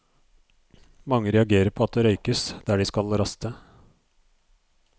Mange reagerer på at det røykes der de skal raste.